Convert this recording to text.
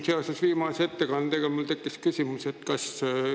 Seoses viimase ettekandega tekkis mul küsimus.